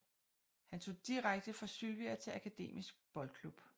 Han tog direkte fra Sylvia til Akademisk Boldklub